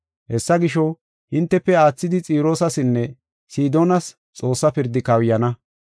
Hessa gisho, hintefe aathidi Xiroosasinne Sidoonas Xoossa pirdi kawuyana.